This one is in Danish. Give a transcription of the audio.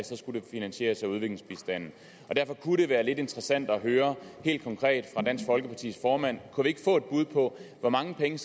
så skulle det finansieres af udviklingsbistanden derfor kunne det være lidt interessant at høre helt konkret fra dansk folkepartis formand kunne vi ikke få et bud på hvor mange penge